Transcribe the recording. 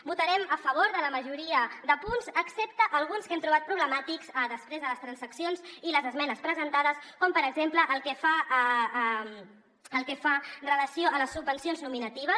votarem a favor de la majoria de punts excepte alguns que hem trobat problemàtics després de les transaccions i les esmenes presentades com per exemple el que fa relació a les subvencions nominatives